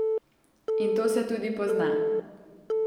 In to se tudi pozna.